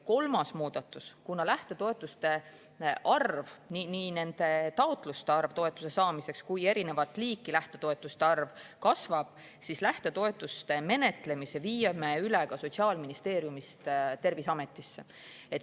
Kolmas muudatus: kuna lähtetoetuste arv, nii taotluste arv toetuse saamiseks kui ka erinevat liiki lähtetoetuste arv kasvab, viime lähtetoetuste menetlemise üle Sotsiaalministeeriumist Terviseametisse.